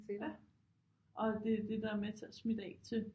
Ja og det er det der er med til at smitte af til